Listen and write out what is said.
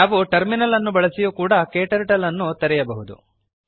ನಾವು ಟರ್ಮಿನಲ್ ಅನ್ನು ಬಳಸಿಯೂ ಕೂಡ ಕ್ಟರ್ಟಲ್ ಅನ್ನು ತೆರೆಯಬಹುದು